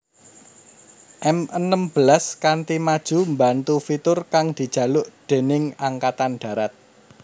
M enem belas kanti maju mbantu fitur kang dijaluk déning Angkatan Darat